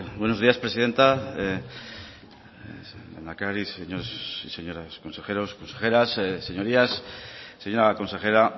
buenos días presidenta lehendakari señores y señoras consejeros consejeras señorías señora consejera